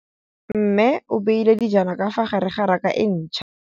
Mmê o beile dijana ka fa gare ga raka e ntšha.